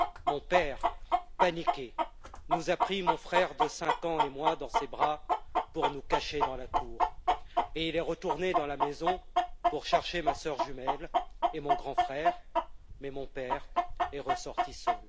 Mon père, paniqué, nous a pris, mon frère de cinq ans et moi, dans ses bras pour nous cacher dans la cour et il est retourné dans la maison pour chercher ma sœur jumelle et mon grand frère, mais mon père est ressorti seul.